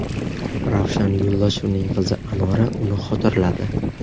Ravshan Yo‘ldoshevning qizi Anora uni xotirladi.